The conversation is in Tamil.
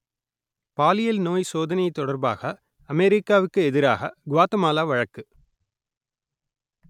பாலியல் நோய் சோதனை தொடர்பாக அமெரிக்காவுக்கு எதிராக குவாத்தமாலா வழக்கு